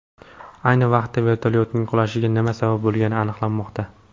Ayni vaqtda vertolyotning qulashiga nima sabab bo‘lgani aniqlanmoqda.